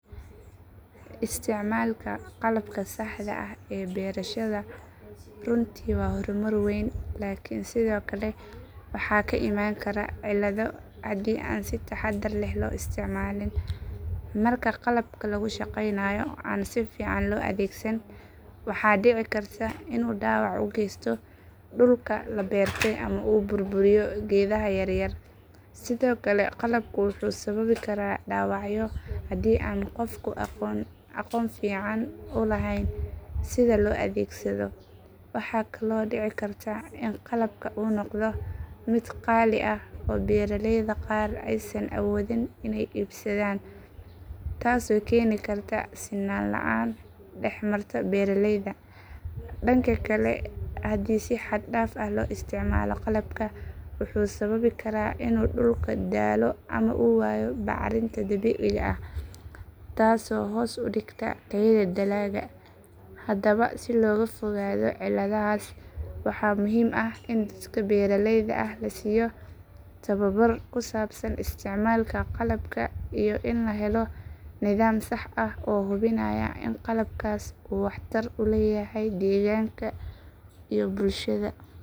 Isticmaalka qalabka saxda ah ee beerashada runtii waa horumar weyn laakiin sidoo kale waxaa ka iman kara cillado haddii aan si taxaddar leh loo isticmaalin. Marka qalabka lagu shaqaynayo aan si fiican loo adeegsan, waxaa dhici karta inuu dhaawac u geysto dhulka la beertay ama uu burburiyo geedaha yaryar. Sidoo kale qalabku wuxuu sababi karaa dhaawacyo haddii aan qofku aqoon fiican u lahayn sida loo adeegsado. Waxaa kaloo dhici karta in qalabka uu noqdo mid qaali ah oo beeralayda qaar aysan awoodin inay iibsadaan, taasoo keeni karta sinaan la’aan dhex marta beeralayda. Dhanka kale, haddii si xad dhaaf ah loo isticmaalo qalabka, wuxuu sababi karaa in dhulku daalo ama uu waayo bacrinta dabiiciga ah, taasoo hoos u dhigta tayada dalagga. Haddaba si looga fogaado cilladahaas, waxaa muhiim ah in dadka beeralayda ah la siiyo tababar ku saabsan isticmaalka qalabka iyo in la helo nidaam sax ah oo hubinaya in qalabkaas uu waxtar u leeyahay deegaanka iyo bulshada.